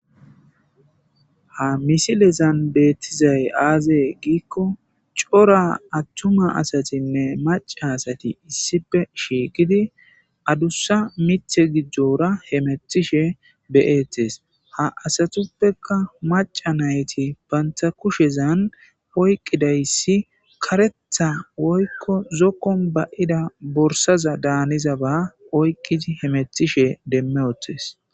ha misilezan beettizay aazee giikko cora attuma asatinne maca asati issipe shiiqidi adussa mithe gijora hemethishe beyetes ha asatuppeka maca nayti banta kushezan oyqqidayssi karetha woykko zokkon bayida borsaza daaniza ba oyqqidi hemethishe demme otes